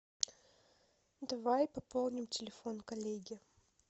давай пополним телефон коллеги